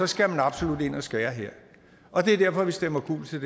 skal absolut ind og skære her og det er derfor vi stemmer gult til